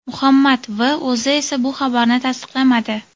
Muhammad V o‘zi esa bu xabarni tasdiqlamadi.